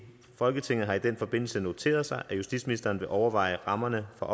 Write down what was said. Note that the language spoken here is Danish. folketinget har i den forbindelse noteret sig at justitsministeren vil overveje rammerne for